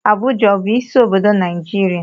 Abuja a bụ isi obodo Naịjirịa?